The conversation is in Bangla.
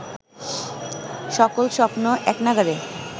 সকল স্বপ্ন এক নাগাড়ে